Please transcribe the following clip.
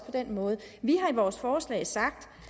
den måde vi har i vores forslag sagt